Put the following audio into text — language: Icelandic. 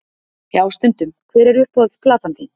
Já stundum Hver er uppáhalds platan þín?